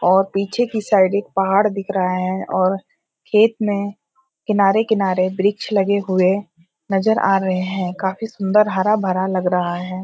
और पीछे की साइड एक पहाड़ दिख रहा है और खेत में किनारे किनारे वृक्ष लगे हुए नजर आ रहे हैं काफी सुंदर हरा भरा लग रहा है।